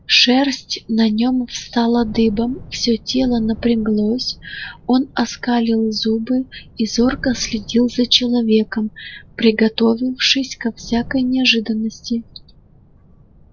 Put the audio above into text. шерсть на нем встала дыбом все тело напряглось он оскалил зубы и зорко следил за человеком приготовившись ко всякой неожиданности